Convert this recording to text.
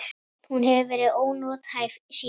Hún hefur verið ónothæf síðan.